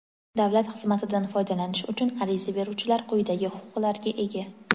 Davlat xizmatidan foydalanish uchun ariza beruvchilar quyidagi huquqlarga ega:.